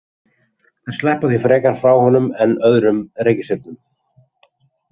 Þær sleppa því frekar frá honum en öðrum reikistjörnum.